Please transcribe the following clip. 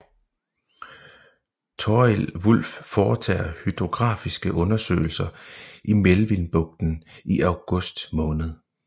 Thorild Wulff foretager hydrografiske undersøgelser i Melvillebugten i august måned